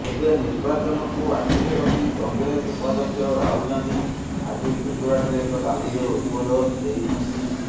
ତେବେ ନିର୍ବାଚନକୁ ଆଖିରେ ରଖି କଂଗ୍ରେସ ଉପାଧ୍ୟକ୍ଷ ରାହୁଲ ଗାନ୍ଧୀ ଆଜି ଗୁଜରାଟରେ ଏକ ରାଲିରେ ଉଦବୋଧନ ଦେଇଛନ୍ତି